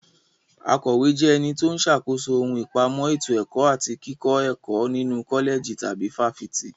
Akọ̀wé jẹ́ ẹni tó ń ṣàkóso ohun ìpamọ́ ètò ẹ̀kọ́ àti kíkọ́ ẹ̀kọ́ nínu kọ́lẹ̀jì tàbí fáfitì.